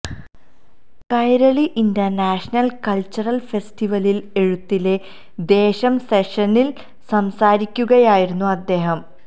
Kairali international cultural ഫെസ്റ്റിവലില് എഴുത്തിലെ ദേശം സെഷനില് സംസാരിക്കുകയായിരുന്നു അദ്ദേഹം